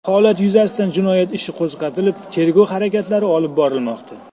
Holat yuzasidan jinoyat ishi qo‘zg‘atilib tergov harakatlari olib borilmoqda.